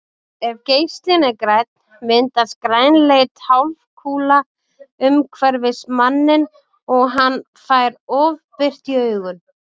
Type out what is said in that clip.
Ef geislinn er grænn myndast grænleit hálfkúla umhverfis manninn og hann fær ofbirtu í augun.